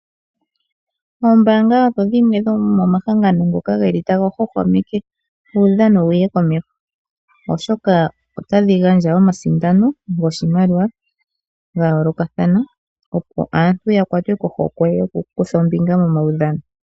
Oombaanga odho dhimwe dhomomahangano ngoka taga hwahwamekwa uudhano wuye komeho. Oshoka otadhi gandja omasindano goshimaliwa ga yoolokathana, opo aantu ya kwatwe kohokwe yokukutha ombinga momaudhano.